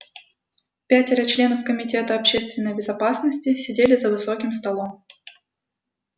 пятеро членов комитета общественной безопасности сидели за высоким столом